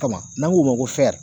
Kama n'an k'o ma ko